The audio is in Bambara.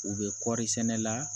U bɛ kɔɔri sɛnɛ la